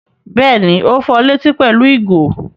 Bẹ́ẹ̀ni, ó fọ létí pẹ̀lú ìgò.